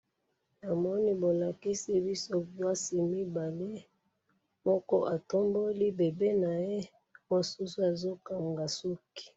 na moni bolakisi biso miasi mibale moko atomboli bebe naye mosusu aza kanga suki